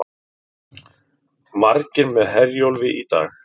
Margir með Herjólfi í dag